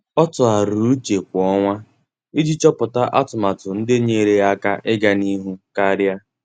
Ọ́ tụ́gharị́rị́ úchè kwa ọnwa iji chọ́pụ́tá atụmatụ ndị nyéeré yá áká iganịhụ karịa.